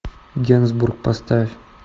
генсбур поставь